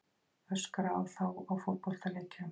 Öskra á þá á fótboltaleikjum?